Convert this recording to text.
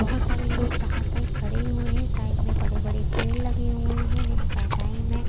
बहोत सारे लोग बाहर साइड खड़े हुए हैं साइड में बड़े बड़े पेड़ लगे हुए हैं दिन का टाइम है।